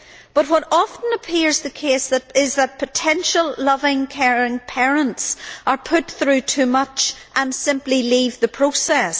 But what often appears the case is that potential loving, caring parents are put through too much and simply leave the process.